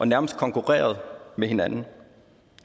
nærmest konkurrerede med hinanden